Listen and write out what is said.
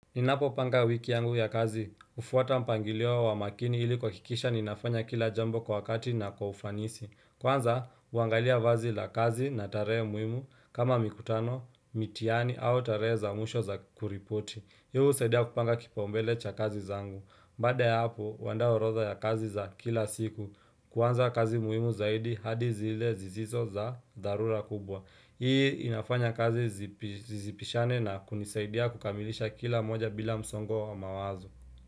Ninapo panga wiki yangu ya kazi, ufuwata mpangiliwo wa makini ili kwakikisha ninafanya kila jambo kwa wakati na kwa ufanisi Kwanza, uangalia vazi la kazi na tare muimu kama mikutano, mitiani au tare za muisho za kuripoti Hii usaidia kupanga kipaombele cha kazi zangu Bada ya hapo, wanda orodha ya kazi za kila siku Kwanza kazi muimu zaidi hadi zile zizizo za darura kubwa Hii inafanya kazi zisipishane na kunisaidia kukamilisha kila moja bila msongo wa mawazo.